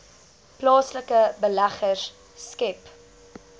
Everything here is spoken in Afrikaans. plaaslike beleggers skep